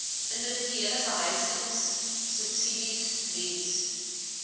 individuele behuisingsubsidies diens